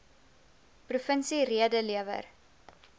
provinsie rede lewer